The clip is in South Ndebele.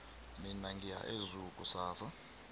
mina ngiya ezoo kusasa